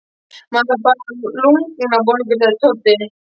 Maður fær bara lungnabólgu, sagði Tóti.